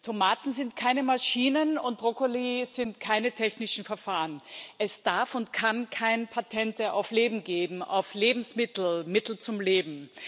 Tomaten sind keine Maschinen, und Brokkoli sind keine technischen Verfahren es darf und kann keine Patente auf Leben geben, auf Lebensmittel, Mittel zum Leben.